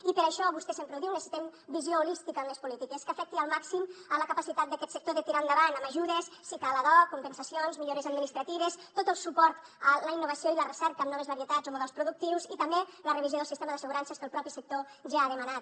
i per això vostè sempre ho diu necessitem visió holística en les polítiques que afecti al màxim la capacitat d’aquest sector de tirar endavant amb ajudes si cal ad hoc compensacions millores administratives tot el suport a la innovació i la recerca amb noves varietats o models productius i també la revisió del sistema d’assegurances que el propi sector ja ha demanat